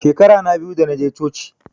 Shekara na biyu da naje coci